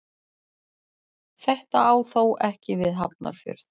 Þetta á þó ekki við um Hafnarfjörð.